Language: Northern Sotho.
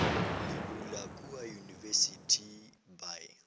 le bula kua university by